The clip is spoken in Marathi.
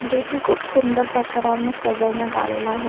जो की खूप सुंदर प्रकाराने सजवण्यात आलेला आहे.